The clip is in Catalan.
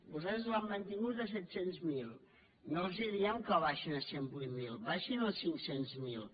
vostès l’han mantingut a set cents miler no els diem que l’abaixin a cent i vuit mil baixin lo a cinc cents miler